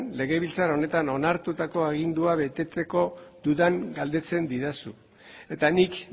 legebiltzar honetan onartutako agindua beteko dudan galdetzen didazu eta nik